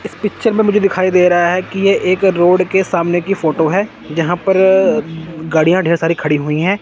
इस पिक्चर में मुझे दिखाई दे रहा है कि ये एक रोड के सामने की फोटो है जहां पर अ गाड़िया ढेर सारी खड़ी हुई हैं।